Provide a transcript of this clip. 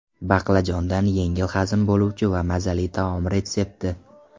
Baqlajondan yengil hazm bo‘luvchi va mazali taom retsepti.